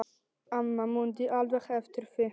Amma mundi alveg eftir því.